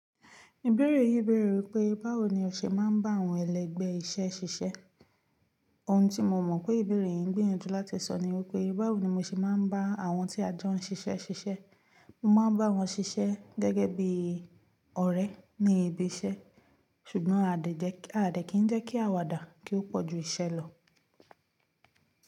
Ìbéèrè yìí bèèrè wípé báwo ni o ṣe máa ń bá àwọn ẹlẹgbẹ́ iṣẹ́ ṣiṣẹ́. Ohun tí mo mọ̀ pé ìbéèrè yìí ń gbìyànjú láti sọ ni wípé báwo ni mo ṣe máa ń bá àwọn tí a jọ ń ṣiṣẹ́ ṣiṣẹ́. Mo máa ń bá wọn ṣiṣẹ́ gẹ́gẹ́ bí ọ̀rẹ́ ní ibi iṣẹ́, ṣùgbọ́n a dẹ̀ kí ń jẹ́ kí àwàdà kí ó pọ̀ ju iṣẹ́ lọ.